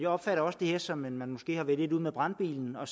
opfatter det her som om man måske har været lidt ude med brandbilen og